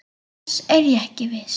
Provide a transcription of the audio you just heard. Annars er ég ekki viss.